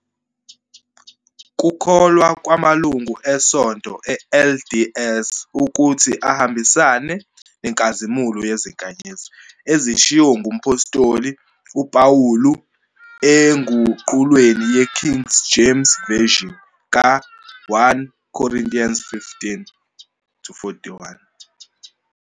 Kukholwa ngamalungu eSonto le-LDS ukuthi ahambisane "nenkazimulo yezinkanyezi" ezishiwo ngumphostoli uPawulu enguqulweni ye-King James Version ka-1 Corinthians 15, 41.